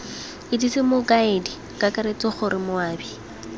itsese mokaedi kakaretso gore moabi